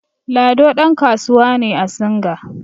Lado ɗankasuwa ne a singa